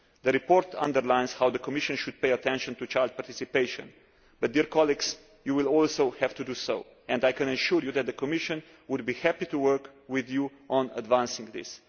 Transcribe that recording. The report underlines how the Commission should pay attention to child participation, but, colleagues, you will also have to do so, and I can assure you that the Commission will be happy to work with you on advancing this.